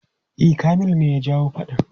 E, Kamilu ne ya jawo faɗan.